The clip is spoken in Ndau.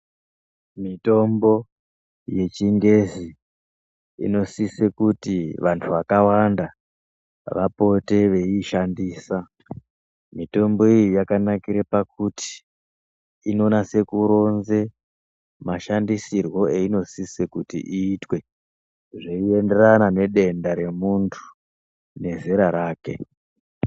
Mitombo yechingezi inosise kuti vantu vakawanda vapote veiyishandisa. Mitombo iyi yakanakire pakuti inonase kuronze mashandisirwe eyinosise kuti iyitwe zviyiyenderana nedenda remuntu nezera rake.